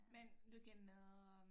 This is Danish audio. Men du kan øh